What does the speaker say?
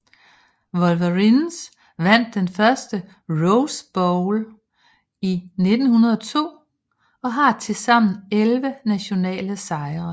Wolverines vandt den første Rose Bowl i 1902 og har tilsammen elleve nationale sejre